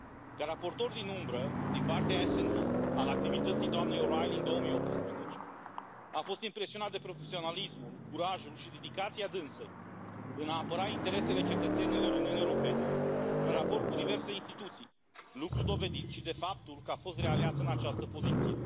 Ca raportor din umbră din partea SD al activității doamnei O'Reilly în 2018, am fost impresionat de profesionalismul, curajul și dedicația dânsei în a apăra interesele cetățenilor Uniunii Europene în raport cu diverse instituții, lucru dovedit și de faptul că a fost realeasă în această poziție.